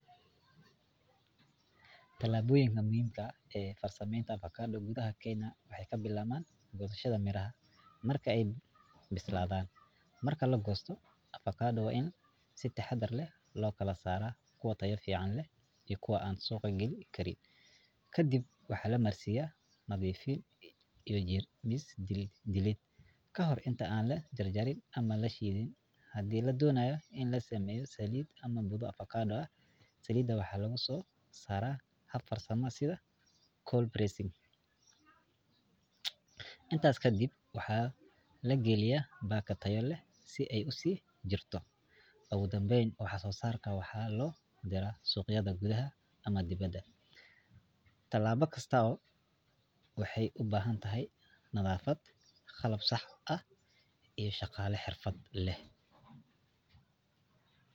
Talaaboyinka muhiimka ah ee farsameenta avocado gudaha kenya waxeey kabilaabmaan gosashada miraha marka aay bisladaan, marka lagoosto waa in si taxadar leh loo kala saara kuwa tayo fican leh iyo kuwa aan suuqa gali Karin, kadib waxaa lamarsiiya nadiifin, kahor inta aan lajarjarin ama aan lashidin, hadii la doonayo in la sameeyo saliid, waxaa lagu soo saara hab farsama, intaas kadib waxaa lagaliyaa baako tayo leh si aay usii jirto, oogu danbeyn waxaa soo saarka waxaa loo diraa suqyada gudaha ama dibada, tilaabo kastaaba waxeey ubahan tahay nadafad qalab sax ah iyo shaqaale xirfad leh.